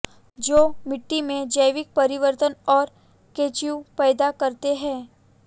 जो मिट्टी में जैविक परिवर्तन और केचुएं पैदा करते हैं